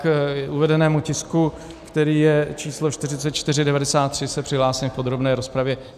K uvedenému tisku, který je číslo 4493, se přihlásím v podrobné rozpravě.